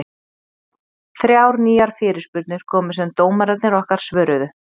Þrjár nýjar fyrirspurnir komu sem dómararnir okkar svöruðu.